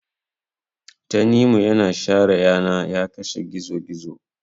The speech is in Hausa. tanimu yana share yana ya kashe gizo gizo